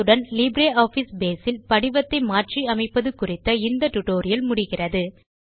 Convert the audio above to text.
இத்துடன் LibreOffice Base இல் படிவத்தை மாற்றி அமைப்பது குறித்த இந்த டுடோரியல் முடிகிறது